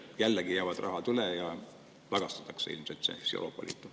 Sest jällegi jääb raha üle ja see tagastatakse ilmselt Euroopa Liitu.